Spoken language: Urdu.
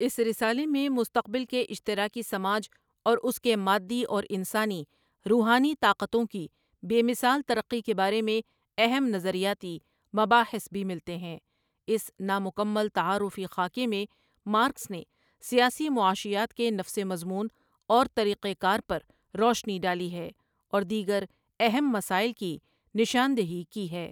اس رسالے میں مستقبل کے اشترا کی سماج اور اس کی مادی اورانسانی روحانی طاقتوں کی بے مثا ل ترقی کے با رے میں اہم نظریاتی مباحث بھی ملتے ہیں اس نامکمل تعار فی خاکے میں مارکس نے سیاسی معاشیات کے نفس مضمون اور طریق کار پر روشنی ڈالی ہے اور دیگر اہم مسائل کی نشاند ہی کی ہے ۔